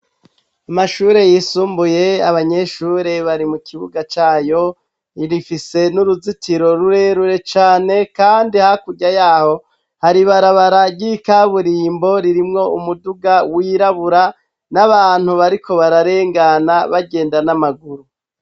Amashure yisumbuye abanyeshure bari mu kibuga cayo rifise n'uruzitiro rurerure cane, kandi hakurya yaho hari barabarary'ikaburimbo ririmwo umuduga wirabura n'abantu bariko bararengana bagenda n'amaguru.